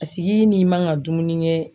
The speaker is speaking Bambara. A sigi n'i manga dumuni kɛ